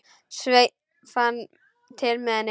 Sveinn fann til með henni.